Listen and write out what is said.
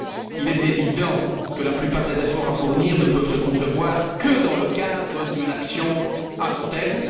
Il est évident que la plupart des efforts à fournir ne peuvent se concevoir que dans le cadre d'une action à long terme.